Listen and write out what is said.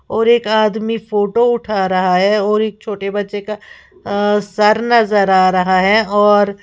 और एक आदमी फोटो उठा रहा है और एक छोटे बच्चे का सर नजर आ रहा है और--